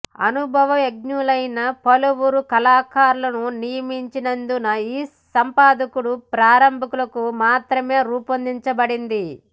అనుభవజ్ఞులైన పలువురు కళాకారులను నియమించినందున ఈ సంపాదకుడు ప్రారంభకులకు మాత్రమే రూపొందించబడింది